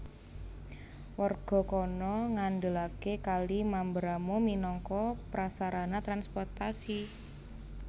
Warga kana ngandelaké Kali Mamberamo minangka prasarana transportasi